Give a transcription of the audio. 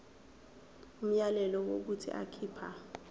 umyalelo wokuthi akhipha